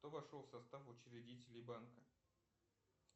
кто вошел в состав учредителей банка